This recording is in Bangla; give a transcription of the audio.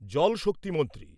জল শক্তি মন্ত্রী